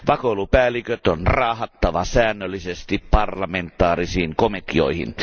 Vakoilupäälliköt on raahattava säännöllisesti parlamentaarisiin komiteoihin.